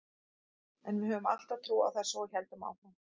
En við höfðum alltaf trú á þessu og héldum áfram.